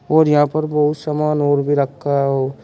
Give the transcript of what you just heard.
और यहां पर बहुत समान और भी रखा हो--